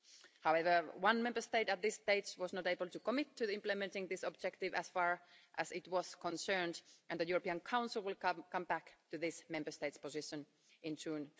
However, one Member State at this stage was not able to commit to implementing this objective as far as it was concerned, and the European Council will come back to this Member State's position in June